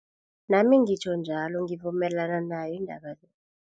Nami ngitjho njalo ngivumelana nayo indaba le.